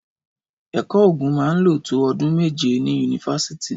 Ẹkọ ògún mà ń ló tó ọ̀dún mẹjẹ ni unífàsítì.